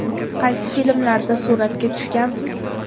Qaysi filmlarda suratga tushgansiz?